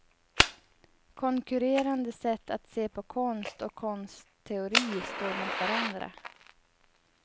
Konkurrerande sätt att se på konst och konstteori står mot varandra.